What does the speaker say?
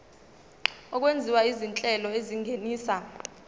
okwenziwa izinhlelo ezingenisa